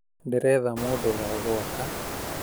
Ndĩretha mũndũwa gũaka